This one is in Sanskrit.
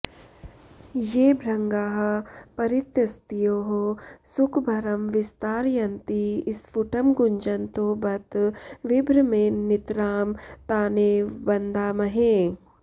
ये भृङ्गाः परितस्तयोः सुखभरं विस्तारयन्ति स्फुटं गुञ्जन्तो बत विभ्रमेण नितरां तानेव वन्दामहे